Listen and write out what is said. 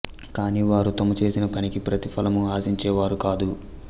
కాని వారు తాము చేసిన పనికి ప్రతి ఫలము ఆశించే వారు కాదు